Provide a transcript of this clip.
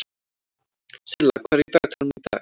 Silla, hvað er í dagatalinu í dag?